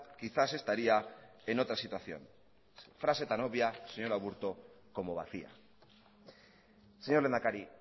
quizás estaría en otra situación frase tan obvia señor aburto como vacía señor lehendakari